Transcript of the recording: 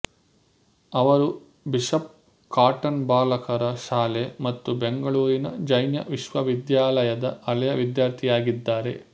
ಅವರು bishop cotton ಬಾಲಕರ ಶಾಲೆ ಮತ್ತು ಬೆಂಗಳೂರಿನ ಜೈನ ವಿಶ್ವವಿದ್ಯಾಲಯದ ಹಳೆಯ ವಿದ್ಯಾರ್ಥಿಯಾಗಿದ್ದಾರೆ